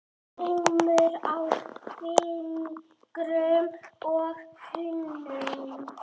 Skrámur á fingrum og hnúum.